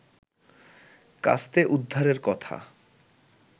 কাস্তে উদ্ধারের কথা